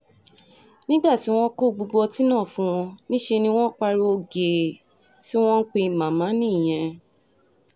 nígbà tí wọ́n kó gbogbo ọtí náà fún wọn níṣẹ́ ni wọ́n pariwo gèè tí wọ́n ń pe màmá nìyẹn